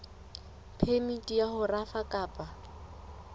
phemiti ya ho rafa kapa